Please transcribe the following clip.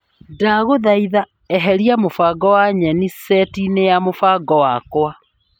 Ndagũthaitha eheria mũbango wa nyeni setinĩ ya mũbango wakwa .